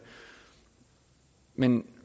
men i